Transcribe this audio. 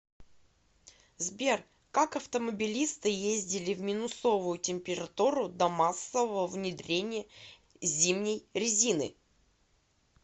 сбер как автомобилисты ездили в минусовую температуру до массового внедрения зимней резины